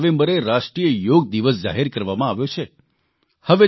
ત્યાં ચાર નવેંબરે રાષ્ટ્રીય યોગ દિવસ જાહેર કરવામાં આવ્યો છે